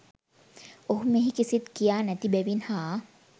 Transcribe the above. ඔහු මෙහි කිසිත් කියා නැති බැවින් හා